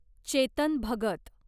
Chetan Bhagat